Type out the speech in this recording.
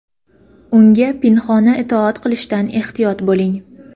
unga pinhona itoat qilishdan ehtiyot bo‘ling!.